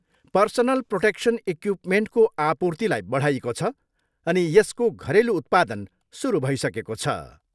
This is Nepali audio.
पर्सनल प्रोटेक्सन इक्युपमेन्टको आपूर्तिलाई बढाइएको छ अनि यसको घरेलु उत्पादन सुरु भइसकेको छ।